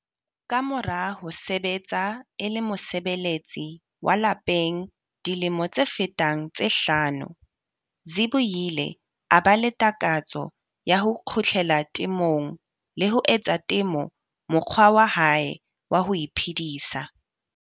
Ka mora ho sebetsa e le mosebeletsi wa lapeng dilemo tse fetang tse hlano, Zibuyile a ba le takatso ya ho kgutlela temong le ho etsa temo mokgwa wa hae wa ho iphedisa.